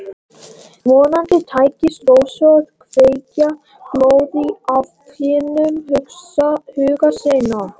Vonandi tækist Rósu að kveikja glóð í afkimum huga síns.